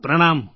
પ્રણામ